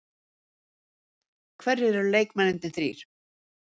Hverjir eru leikmennirnir þrír?